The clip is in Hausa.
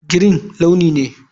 Green launi ne.